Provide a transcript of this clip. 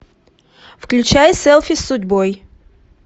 включай селфи с судьбой